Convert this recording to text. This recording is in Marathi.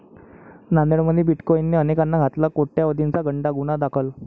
नांदेडमध्ये 'बिटकाॅईन'ने अनेकांना घातला कोट्यवधीचा गंडा, गुन्हा दाखल